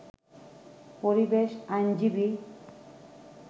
পরিবেশ আইনজীবী